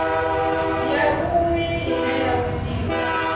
ya vhui ine ya winiwa